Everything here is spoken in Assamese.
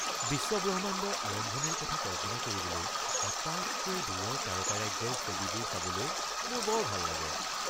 বিশ্ব-ব্ৰহ্মাণ্ডৰ আৰম্ভণিৰ কথা কল্পনা কৰিবলৈ আটাইতকৈ দূৰৰ তাৰকাৰাজ্যৰ ছবিবোৰ চাবলৈ মোৰ বৰ ভাল লাগে।